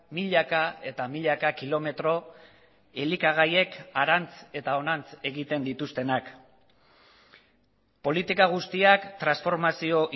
milaka eta milaka kilometro elikagaiek harantz eta honantz egiten dituztenak politika guztiak transformazio